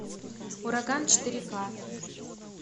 ураган четыре ка